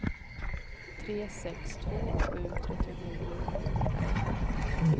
tre sex två sju trettionio sjuhundraelva